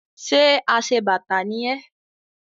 Ṣe aṣebàtà ni ẹ́?